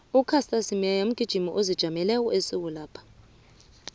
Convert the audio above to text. ucaster semenya mgijimi ozijameleko ephasinapha